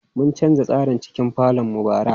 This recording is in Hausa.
Mun canza tsarin cikin falon mu bara.